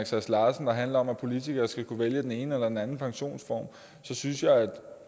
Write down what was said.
sass larsen der handler om at politikere skal kunne vælge den ene eller den anden pensionsform synes jeg at